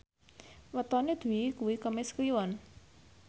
wetone Dwi kuwi Kemis Kliwon